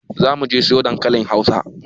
Zamuje mu siyo dankalin hausa